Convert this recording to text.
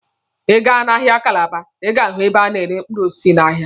Ị gaa n'ahịa Kalaba, Ị ga-ahụ ebe a na-ere mkpụrụ osisi n'ahịa.